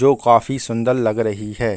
जो कॉफ़ी सुन्दर लग रही रही है।